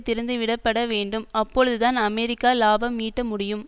திறந்துவிடப்பட வேண்டும் அப்பொழுதுதான் அமெரிக்கா இலாபம் ஈட்ட முடியும்